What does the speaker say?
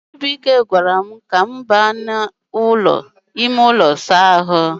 chibuike gwaram ka m ga n'ulo Isa ahu